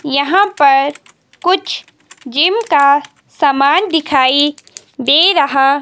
यहां पर कुछ जिम का सामान दिखाई दे रहा--